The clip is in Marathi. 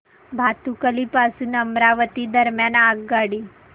भातुकली पासून अमरावती दरम्यान आगगाडी